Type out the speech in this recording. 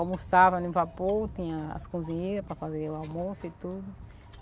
Almoçava no vapor, tinha as cozinheiras para fazer o almoço e tudo.